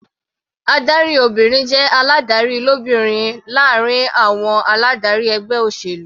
Adarí obìnrin jẹ́ aládarí lóbìnrin láàrin àwọn aládarí ẹgbẹ́ olóṣèlú.